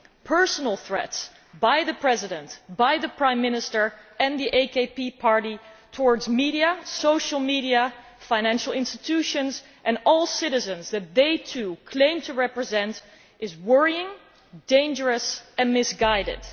Personal threats by the President, the Prime Minister and the AKP party towards the media, social media, financial institutions and all of the citizens that they claim to represent is worrying, dangerous and misguided.